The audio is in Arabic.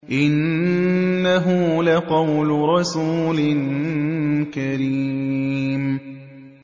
إِنَّهُ لَقَوْلُ رَسُولٍ كَرِيمٍ